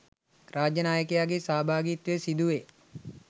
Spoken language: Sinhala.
රාජ්‍ය නායකයාගේ සහභාගිත්වය සිදුවේ.